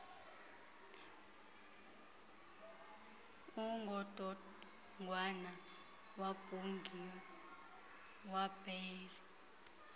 ungodongwana wabhungea wabhaea